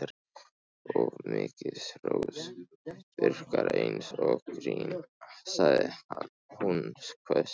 Of mikið hrós virkar eins og grín sagði hún hvöss.